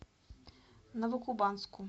новокубанску